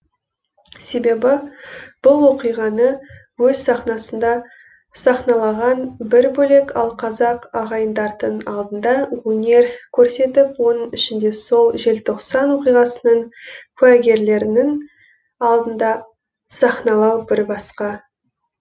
себебі бұл оқиғаны өз сахнасында сахналаған бір бөлек ал қазақ ағайындардың алдында өнер көрсетіп оның ішінде сол желтоқсан оқиғасының куәгерлерінің алдында сахналау бір басқа